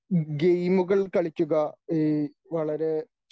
ഗെയിമുകൾ കളിക്കുക ഈ വളരെ